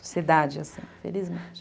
Sociedade é assim, felizmente.